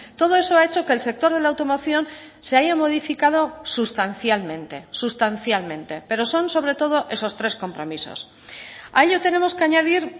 todo eso ha hecho que el sector de la automoción se haya modificado sustancialmente sustancialmente pero son sobre todo esos tres compromisos a ello tenemos que añadir